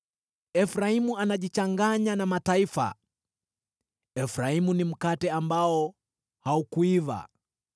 “Efraimu anajichanganya na mataifa; Efraimu ni mkate ambao haukuiva.